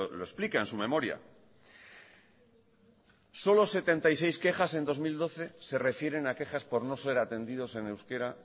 lo explica en su memoria solo setenta y seis quejas en dos mil doce se refieren a quejas por no ser atendidos en euskera